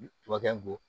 Tubabu kɛ bɔ